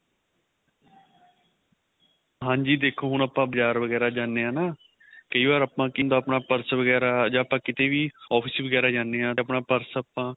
ਹਾਂਜੀ ਦੇਖੋ ਹੁਣ ਆਪਾਂ ਬਜ਼ਾਰ ਵਗੈਰਾ ਜਾਣੇ ਆ ਨਾ ਕਈ ਵਾਰ ਆਪਣਾ ਕੀ ਹੁੰਦਾ ਆਪਣਾ purse ਵਗੈਰਾ ਜਾਂ ਆਪਾਂ ਕੀਤੇ ਵੀ office ਵਗੈਰਾ ਜਾਣੇ ਆ ਤੇ ਆਪਣਾ purse ਆਪਾਂ